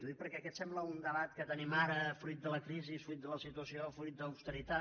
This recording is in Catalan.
ho dic perquè aquest sembla un debat que tenim ara fruit de la crisi fruit de la situació fruit de l’austeritat